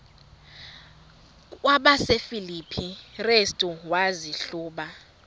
kwabasefilipi restu wazihluba